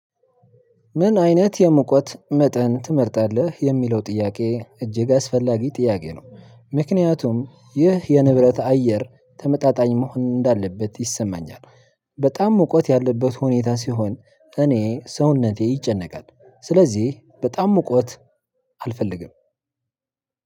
ምን አይነት የሙቀት መጠን ትመርጣለህ የሚለው ጥያቄ እጅግ አስፈላጊ ጥያቄ ነው? ምክንያቱም ይህ የንብረት አየር ተመጣጣኝ መሆን እንዳለበት ይሰማኛል። በጣም ሙቀት ያለበት ሁኔታ ሲሆን እኔ ሰውነቴ ይጨነቃል ስለዚህ በጣም ሙቀት አልፈልግም።